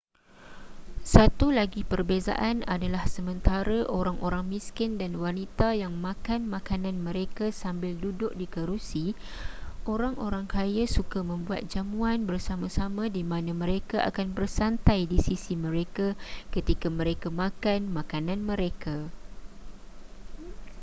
satu lagi perbezaan adalah sementara orang-orang miskin dan wanita yang makan makanan mereka sambil duduk di kerusi orang-orang kaya suka membuat jamuan bersama-sama di mana mereka akan bersantai di sisi mereka ketika mereka makan makanan mereka